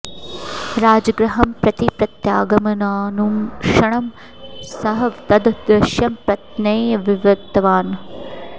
राजगृहं प्रति प्रत्यागमनानुक्षणं सः तद् दृश्यं पत्न्यै विवृतवान्